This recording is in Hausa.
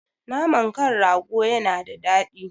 Naman kan rago yana da daɗi